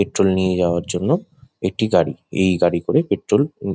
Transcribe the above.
petrol নিয়ে যাবার জন্য একটি গাড়ি এই গাড়ি করে পেট্রোল উম--